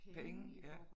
Penge ja